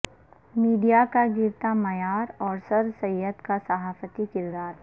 media کا گرتا معیار اور سر سید کا صحافتی کردار